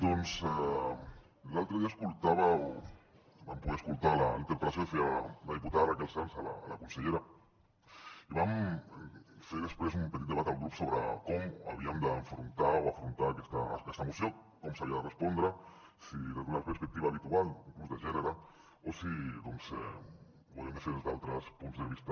doncs l’altre dia escoltava o vam poder escoltar la interpel·lació que feia la diputada raquel sans a la consellera i vam fer després un petit debat al grup sobre com havíem d’afrontar aquesta moció com s’hi havia de respondre si des d’una perspectiva habitual inclús de gènere o si ho havíem de fer des d’altres punts de vista